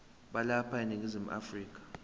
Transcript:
balapha eningizimu afrika